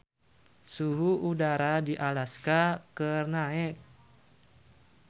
Suhu udara di Alaska keur naek